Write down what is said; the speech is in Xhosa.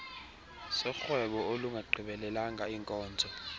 sorhwebo olungagqibelelanga iinkozo